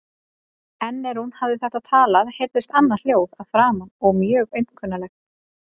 En er hún hafði þetta talað heyrðist annað hljóð að framan og mjög aumkunarlegt.